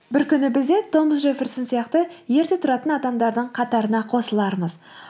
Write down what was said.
бір күні біз де томас джефферсон сияқты ерте тұратын адамдардың қатарына қосылармыз